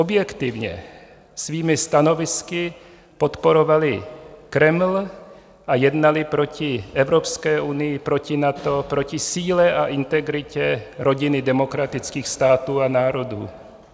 Objektivně svými stanovisky podporovali Kreml a jednali proti Evropské unii, proti NATO, proti síle a integritě rodiny demokratických států a národů.